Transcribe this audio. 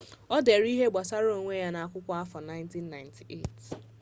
ọ dere ihe gbasara onwe ya na akwụkwọ afọ 1998